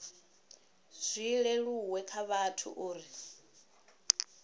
zwi leluwe kha vhathu uri